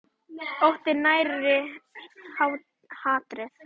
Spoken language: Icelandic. Óttinn nærir hatrið.